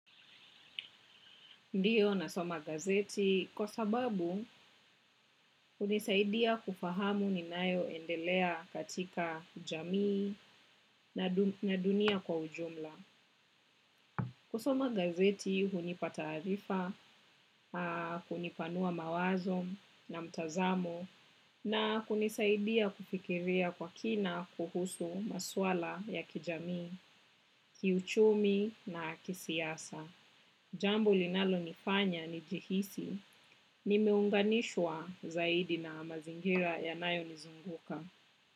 Ndiyo nasoma gazeti kwa sababu hunisaidia kufahamu ninayoendelea katika jamii na dunia kwa ujumla. Kusoma gazeti hunipa taarifa hunipanua mawazo na mtazamo na hunisaidia kufikiria kwa kina kuhusu maswala ya kijamii, kiuchumi na kisiasa. Jambo linalonifanya nijihisi, nimeunganishwa zaidi na mazingira yanayo nizunguka.